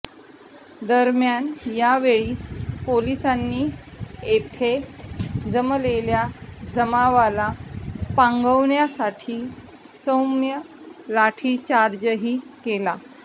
दरम्यान यावेळी पोलिसांनी येथे जमलेल्या जमावाला पांगवण्यासाठी सौम्य लाठीचार्जही केला